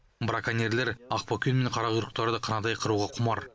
браконьерлер ақбөкен мен қарақұйрықтарды қынадай қыруға құмар